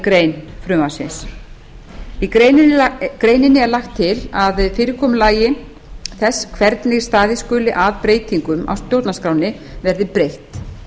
grein frumvarpsins í greininni er lagt til að fyrirkomulagi þess hvernig staðið skuli að breytingum á stjórnarskránni verði breytt